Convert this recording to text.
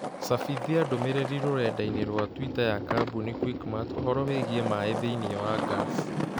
cabithia ndũmĩrĩri rũrenda-inī rũa tũita ya kambuni quickmart ũhoro wĩĩgĩĩ maĩ thĩinĩ wa gas